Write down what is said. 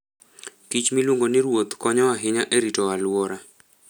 kich miluongo ni ruoth konyo ahinya e rito alwora.